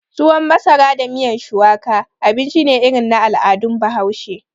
Tuwon masara da miyan shuwaka, abinci ne irin na al'adun bahaushe